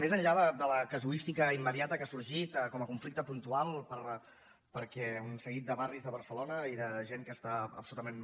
més enllà de la casuística immediata que ha sorgit com a conflicte puntual perquè un se·guit de barris de barcelona i de gent que està absoluta·ment